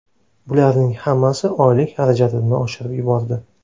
Bularning hammasi oylik xarajatimni oshirib yubordi.